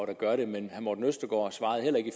der gør det men herre morten østergaard svarede heller ikke i